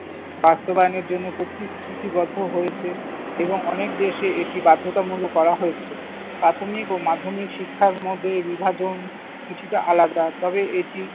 বাস্তবায়নের জন্য প্রতিশ্রুতিবদ্ধ হয়েছে এবং অনেক দেশে এটি বাধ্যতামূলক করা হয়েছে। প্রাথমিক ও মাধ্যমিক শিক্ষার মধ্যে এই বিভাজন কিছুটা আলাদা। তবে এটি